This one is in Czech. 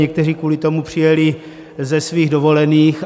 Někteří kvůli tomu přijeli ze svých dovolených.